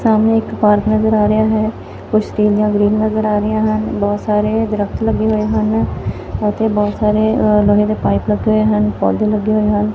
ਸਾਹਮਣੇ ਇੱਕ ਪਾਰਕ ਨਜ਼ਰ ਆ ਰਿਹਾ ਹੈ ਕੁਛ ਸਟੀਲ ਦੀਆਂ ਗ੍ਰਿਲ ਨਜ਼ਰ ਆ ਰਹੀਆਂ ਹਨ ਬਹੁਤ ਸਾਰੇ ਦਰੱਖਤ ਲੱਗੇ ਹੋਏ ਹਨ ਇੱਥੇ ਬਹੁਤ ਸਾਰੇ ਅ ਲੋਹੇ ਦੇ ਪਾਈਪ ਲੱਗੇ ਹੋਏ ਹਨ ਪੌਧੇ ਲੱਗੇ ਹੋਏ ਹਨ।